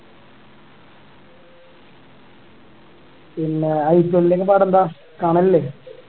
പിന്നേ IPL ഒക്കെ പാടെന്താ കാണലില്ലേ